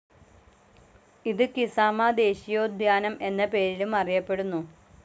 ഇത് കിസാമ ദേശീയോദ്യാനം എന്ന പേരിലും അറിയപ്പെടുന്നു.